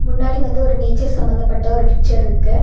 முன்னாடி வந்து ஒரு நேச்சர் சம்பந்தப்பட்ட ஒரு பிச்சர்ருக்கு .